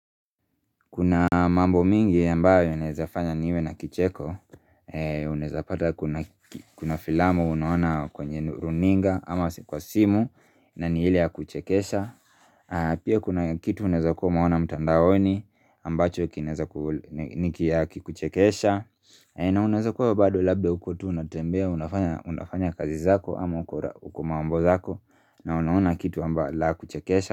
Kuna mambo mingi ambayo yanaweza fanya niwe na kicheko Unaeza pata kuna filamo unaona kwenye runinga ama kwa simu na ni ile ya kuchekesha. Pia kuna kitu unaeza kuwa umeona mtandaoni ambacho kinaeza kukuchekesha na unaeza kuwa bado labda uko tu unatembea unafanya kazi zako ama uko mambo zako na unaona kitu ambayo la kuchekesha.